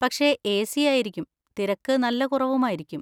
പക്ഷെ എ.സി. ആയിരിക്കും, തിരക്ക് നല്ല കുറവുമായിരിക്കും.